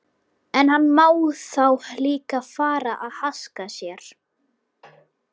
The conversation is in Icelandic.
En hann má þá líka fara að haska sér.